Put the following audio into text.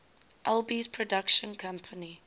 alby's production company